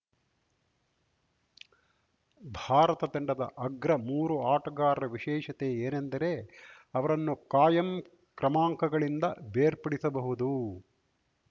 ಭಾರತ ತಂಡದ ಅಗ್ರ ಮೂರು ಆಟಗಾರರ ವಿಶೇಷತೆ ಏನೆಂದರೆ ಅವರನ್ನು ಕಾಯಂ ಕ್ರಮಾಂಕಗಳಿಂದ ಬೇರ್ಪಡಿಸಬಹುದು